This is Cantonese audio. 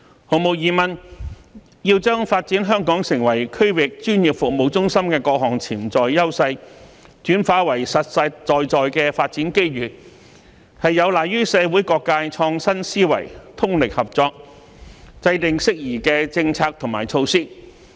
毫無疑問，要將發展香港成為區域專業服務中心的各項潛在優勢，轉化為實實在在的發展機遇，有賴於社會各界創新思維，通力合作，制訂適宜的政策及措施。